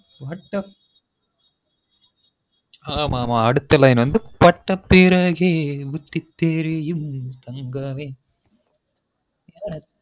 அட்டப் ஹ மாமா அடுத்த line வந்து பட்டபிறகே புத்தி தெரியும் தங்கமே